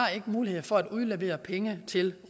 mulighed for at udlevere penge til